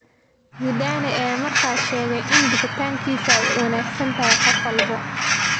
Zidane ayaa markaas sheegay in bixitaankiisa ay u wanaagsan tahay qof walba.